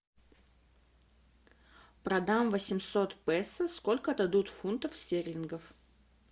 продам восемьсот песо сколько дадут фунтов стерлингов